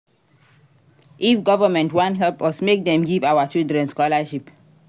If government wan help us make dem give our children scholarship.